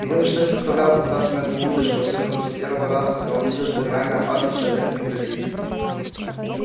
его ничто не заставляло попадаться на эту удочку особенно после первого раза когда он увидел что реальная опасность человеку не грозит